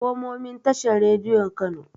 Komomin tashar Radiyo Kano.